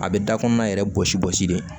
A bɛ da kɔnɔna yɛrɛ gosi bɔsi de